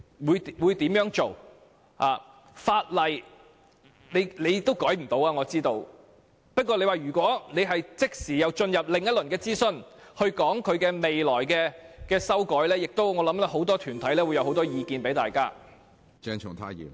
我知道政府未能修改法例，不過，如果即時進入另一輪諮詢，討論未來的修訂，我認為很多團體會提出多項意見。